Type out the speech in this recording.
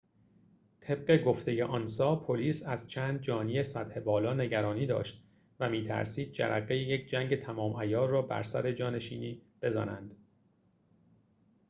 طبق گفته آنسا پلیس از چند جانی سطح بالا نگرانی داشت و می‌ترسید جرقه یک جنگ تمام‌عیار را بر سر جانشینی بزنند